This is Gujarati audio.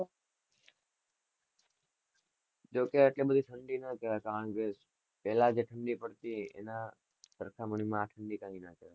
જો ક એટલી બધી ઠંડી નાં કેવાય કારણ કે પેલા જેટલી પડતી સરખામણી માં આ ઠંડી કઈ ના કેવાય.